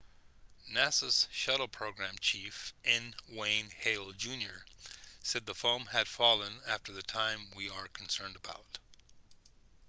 nasa's shuttle program chief n wayne hale jr said the foam had fallen after the time we are concerned about